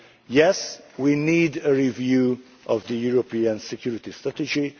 Yes, we need a review of the European Security Strategy.